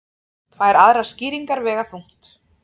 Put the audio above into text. Tvær aðrar skýringar vega þungt